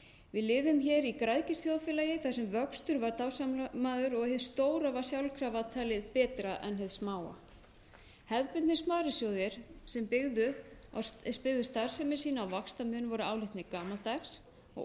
við lifum hér í græðgisþjóðfélagi þar sem vöxtur var dásamaður og hið stóra var sjálfkrafa talið betra en hið smáa hefðbundnir sparisjóðir sem byggðu starfsemi sína á vaxtamun voru álitnir gamaldags og